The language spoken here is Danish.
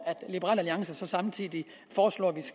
liberal alliance så samtidig foreslår